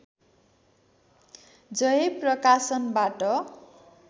जय प्रकाशनबाट